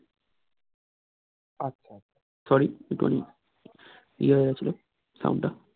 আচ্ছা sorry একটু খানিক ইয়ে হয়ে গেছিলো sound টা